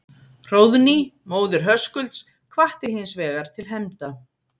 Hróðný, móðir Höskulds, hvatti hins vegar til hefnda.